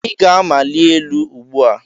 Ị ga-amali elu ugbu a.!